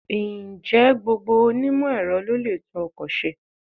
Ǹjẹ́ gbogbo onímọ̀-Ẹ̀rọ ló lè tún ọkọ̀ ṣe?